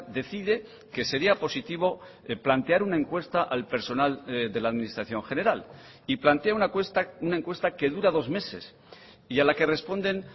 decide que sería positivo plantear una encuesta al personal de la administración general y plantea una encuesta que dura dos meses y a la que responden